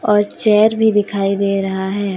और चेयर भी दिखाई दे रहा है।